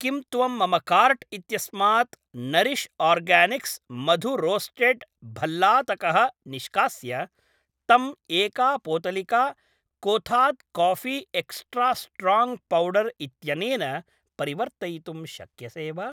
किं त्वं मम काार्ट् इत्यस्मात् नरिश् आर्गानिक्स् मधु रोस्टेड् भल्लातकः निष्कास्य तं एका पोतलिका Kothas coffee extra strong powder इत्यनेन परिवर्तयितुं शक्यसे वा?